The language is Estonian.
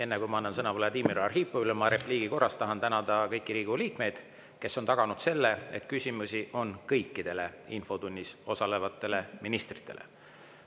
Enne, kui ma annan sõna Vladimir Arhipovile, ma repliigi korras tänan kõiki Riigikogu liikmeid, kes on taganud, et küsimusi on kõikidele infotunnis osalevatele ministritele.